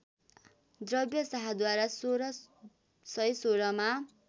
द्रव्य शाहद्वारा १६१६मा